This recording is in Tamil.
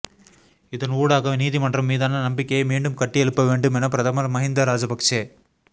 இதன் ஊடாக நீதிமன்றம் மீதான நம்பிக்கையை மீண்டும் கட்டியெழுப்ப வேண்டும் என பிரதமர் மகிந்த ராஜபக்ஷ